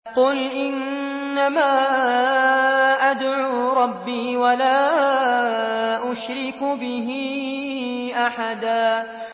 قُلْ إِنَّمَا أَدْعُو رَبِّي وَلَا أُشْرِكُ بِهِ أَحَدًا